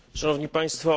Szanowni Państwo!